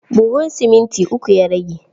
Buhun siminti uku ya rage.